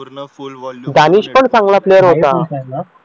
दानेश पण चांगला प्लेयर होता